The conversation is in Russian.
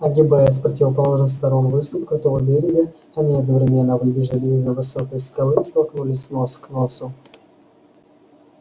огибая с противоположных сторон выступ крутого берега они одновременно выбежали из за высокой скалы и столкнулись нос к носу